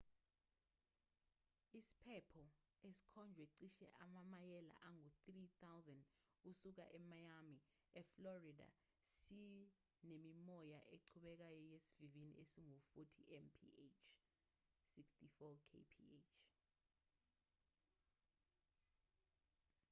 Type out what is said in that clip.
isiphepho esikhonjwe cishe amamayela angu-3,000 kusuka emiami eflorida sinemimoya eqhubekayo yesivinini esingu-40 mph 64 kph